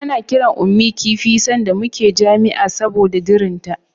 Ana kiran Ummi kifi sanda muna jami'a saboda dirinta.